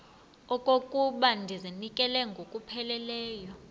okokuba ndizinikele ngokupheleleyo